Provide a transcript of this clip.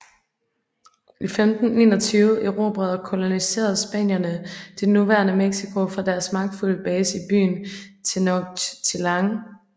I 1521 erobrede og koloniserede spanierne det nuværende Mexico fra deres magtfulde base i byen Tenochtitlán